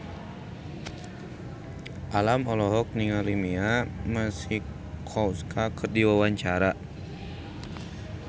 Alam olohok ningali Mia Masikowska keur diwawancara